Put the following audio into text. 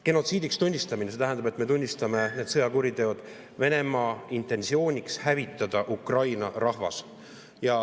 Genotsiidiks tunnistamine tähendab, et me tunnistame need sõjakuriteod Venemaa intentsiooniks hävitada Ukraina rahvas.